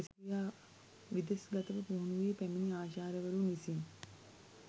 විදෙස් ගතව පුහුණු වී පැමිණි ආචාර්යවරුන් විසින්